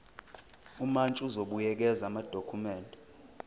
umantshi uzobuyekeza amadokhumende